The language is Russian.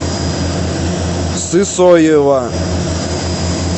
сысоева